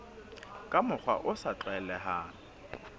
ka mokgwa o sa tlwaelehang